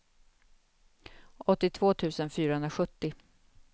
åttiotvå tusen fyrahundrasjuttio